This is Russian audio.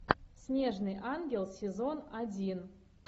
снежный ангел сезон один